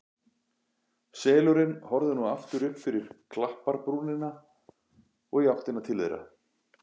Selurinn horfði nú aftur upp fyrir klapparbrúnina og í áttina til þeirra.